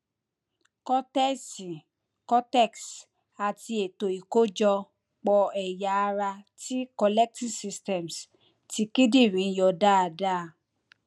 kọtẹsì cortex àti ètò ìkójọ pò ẹyà ara ti collecting systems ti kíndìnrín yọ dáadáa